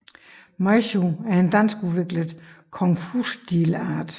Meishu er en danskudviklet Kung Fu stilart